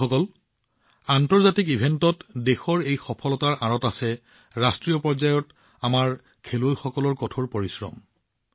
বন্ধুসকল আন্তঃৰাষ্ট্ৰীয় ইভেণ্টত দেশৰ এই সফলতাৰ আঁৰত আছে ৰাষ্ট্ৰীয় পৰ্যায়ত আমাৰ খেলুৱৈসকলৰ কঠোৰ পৰিশ্ৰম